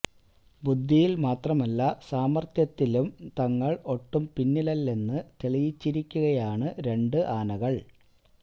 ബുദ്ധിയിൽ മാത്രമല്ല സാമർത്ഥ്യത്തിലും തങ്ങൾ ഒട്ടും പിന്നിലല്ലെന്ന് തെളിയിച്ചിരിക്കുകയാണ് രണ്ട് ആനകൾ